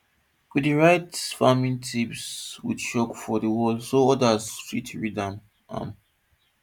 we dey write farming tips with chalk for di wall so odas fit read am am